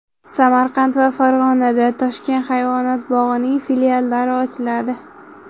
Samarqand va Farg‘onada Toshkent hayvonot bog‘ining filiallari ochiladi.